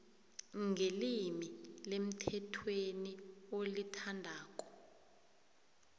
ngelimi lemthethweni olithandako